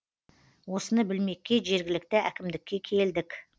осыны білмекке жергілікті әкімдікке келдік